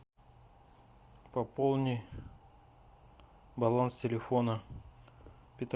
пополни баланс телефона